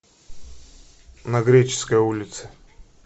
на греческой улице